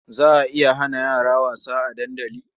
Za a iya hana yara wasa a dandali?